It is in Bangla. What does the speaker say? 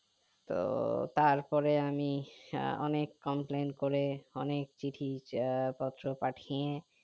তো তারপরে আমি আহ অনেক complan করে অনেক চিঠি আহ পত্র পাঠিয়ে